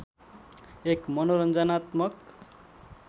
एक मनोरञ्जनात्मक